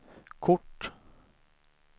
kort